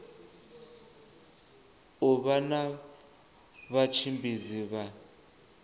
u vha na vhatshimbidzi vha